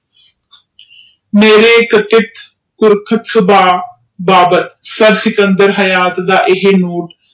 ਮੇਰੇ ਇਕੱਠ ਸੁਬਹ ਬਾਬਰ ਸਿਕੰਦਰ ਰਿਹਾਯਾਤ ਦਾ ਇਹ ਰੁਸ